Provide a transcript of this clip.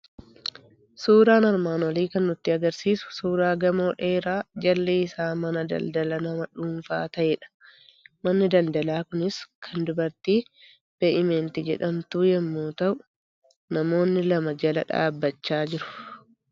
Suuraan armaan olii kan nutti argisiisu suuraa gamoo dheeraa jalli isaa mana daldala nama dhuunfaa ta'edha. Manni daldalaa kunis kan dubartii Be'imnet jedhamtuu yommuu ta'u, namoonni lama jala dhaabachaa jiru.